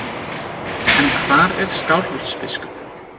En hvar er Skálholtsbiskup?